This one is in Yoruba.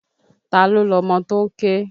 Ta ló lọmọ tó ń ké?